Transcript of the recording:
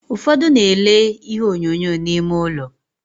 Ufodu na-ele ihe onyonyo n'ime ulo.